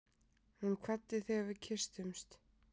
Hún kvaddi þegar við kysstumst.